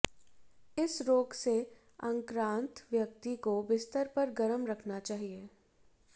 इस रोग से आक्रांत व्यक्ति को बिस्तर पर गरम रखना चाहिए